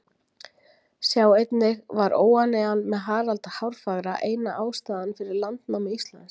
Sjá einnig Var óánægjan með Harald hárfagra eina ástæðan fyrir landnámi Íslands?